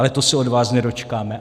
Ale to se od vás nedočkáme.